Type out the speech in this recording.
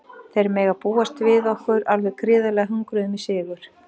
Þeir mega búast við okkur alveg gríðarlega hungruðum í sigur.